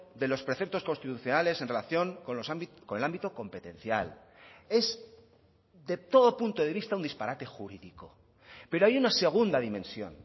de los preceptos constitucionales en relación con el ámbito competencial es de todo punto de vista un disparate jurídico pero hay una segunda dimensión